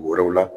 Wɛrɛw la